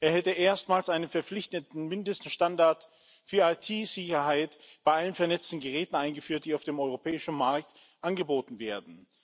Er hätte erstmals einen verpflichtenden Mindeststandard für IT-Sicherheit bei allen vernetzten Geräten eingeführt, die auf dem europäischen Markt angeboten werden.